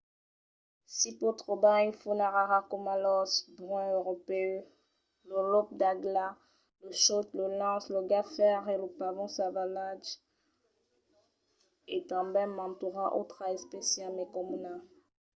s'i pòt trobar una fauna rara coma l'ors brun europèu lo lop l'agla lo chòt lo linx lo gat fèr e lo pavon salvatge e tanben mantuna autra espècia mai comuna